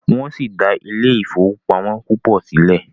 wón si dá Ile-ifowopamọ púpọ síle.